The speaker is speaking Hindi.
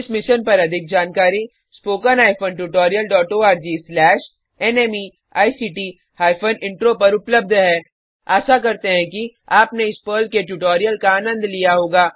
इस मिशन पर अधिक जानकारी निम्न लिंक पर उपलब्ध है httpspoken tutorialorgNMEICT Intro आशा करते हैं कि आपने इस पर्ल के ट्यूटोरियल का आनंद लिया होगा